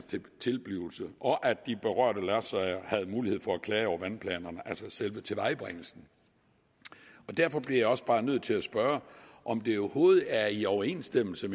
tilblivelse og at de berørte lodsejere havde mulighed for at klage over vandplanerne altså selve tilvejebringelsen derfor bliver jeg også bare nødt til at spørge om det overhovedet er i overensstemmelse